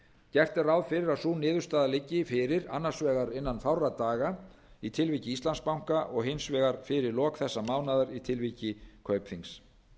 gert er ráð fyrir að sú niðurstaða liggi fyrir annars vegar innan fárra daga í tilviki íslandsbanka og hins vegar fyrir lok þessa mánaðar í tilviki kaupþings